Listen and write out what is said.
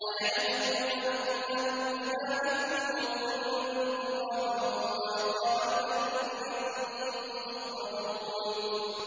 أَيَعِدُكُمْ أَنَّكُمْ إِذَا مِتُّمْ وَكُنتُمْ تُرَابًا وَعِظَامًا أَنَّكُم مُّخْرَجُونَ